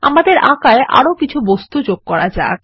আমাদের আঁকায় আরো কিছু বস্তু যোগ করা যাক